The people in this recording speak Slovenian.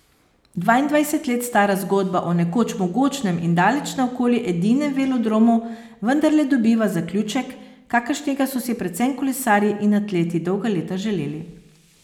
Dvaindvajset let stara zgodba o nekoč mogočnem in daleč naokoli edinem velodromu vendarle dobiva zaključek, kakršnega so si predvsem kolesarji in atleti dolga leta želeli.